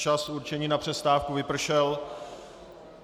Čas určený na přestávku vypršel.